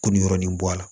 Kun yɔrɔnin bɔ a la